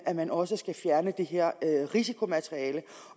at man også skal fjerne det her risikomateriale